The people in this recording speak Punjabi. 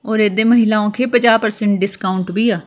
ਔਰ ਇਹਦੇ ਮਹਿਲਾਉ ਕੇ ਪੰਜਾਹ ਪਰਸੈਂਟ ਡਿਸਕਾਊਂਟ ਵੀ ਆ।